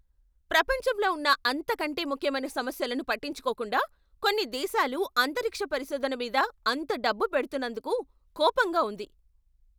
ప్రపంచంలో ఉన్న అంతకంటే ముఖ్యమైన సమస్యలను పట్టించుకోకుండా, కొన్ని దేశాలు అంతరిక్ష పరిశోధన మీద అంత డబ్బు పెడుతున్నందుకు కోపంగా ఉంది.